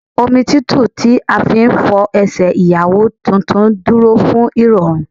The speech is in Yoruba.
Omi tútù tí a fi ń fọ Ẹsẹ̀ Ìyàwó tuntun dúró fún ìrọ̀rùn.